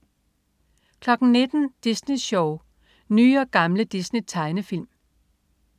19.00 Disney Sjov. Nye og gamle Disney-tegnefilm